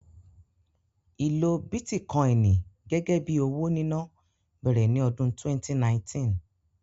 Ìlo bítíkọ́ìnì gẹ́gẹ́ bí owó níná bẹ̀rẹ̀ ní ọdún 2019